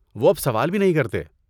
وہ اب سوال بھی نہیں کرتے۔